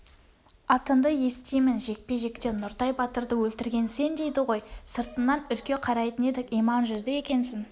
атыңды естимін жекпе-жекте нұртай батырды өлтірген сен дейді ғой сыртыңнан үрке қарайтын едік иман жүзді екенсің